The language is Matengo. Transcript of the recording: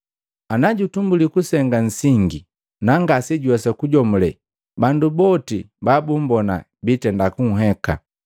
Ana jutumbuli kusenga nsingi, nangasejuwesa kujomule bandu boti babumbona biitenda kunheka.